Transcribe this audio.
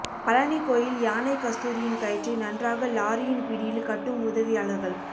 பழனி கோயில் யானை கஸ்தூரியின் கயிற்றை நன்றாக லாரியின் பிடியில் கட்டும் உதவியாளர்கள்